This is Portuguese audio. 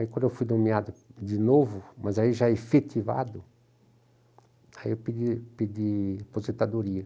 Quando eu fui nomeado de novo, mas já efetivado, eu pedi pedi aposentadoria.